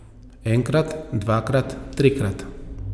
Enkrat, dvakrat, trikrat.